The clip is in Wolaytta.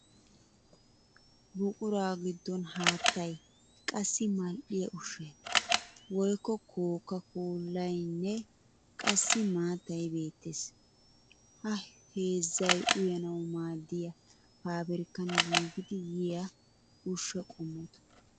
Buquraa giddon haattay, qassi mal'iyaa ushshay woykko kookkaa koollaayinne qassi maattay beettes. Ha heezzay uyanawu maadiya faabirikkan giigidi yiya ushsha qommota.